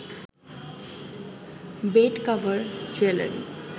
bed cover, jewellery